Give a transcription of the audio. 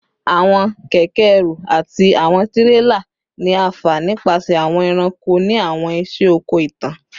Awọn kẹkẹ-ẹrù ati awọn tirela ni a fa nipasẹ awọn ẹranko ni awọn iṣẹ oko itan